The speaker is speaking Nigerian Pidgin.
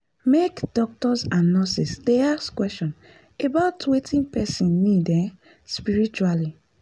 make doctors and nurses dey ask question about wetin person need um spritually.